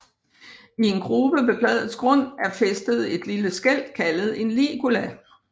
I en grube ved bladets grund er fæstet et lille skæl kaldet en ligula